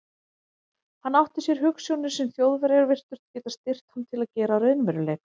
Hann átti sér hugsjónir, sem Þjóðverjar virtust geta styrkt hann til að gera að raunveruleika.